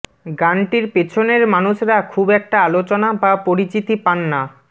গানটির পেছনের মানুষরা খুব একটা আলোচনা বা পরিচিতি পান না